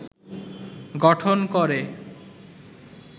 গঠন করে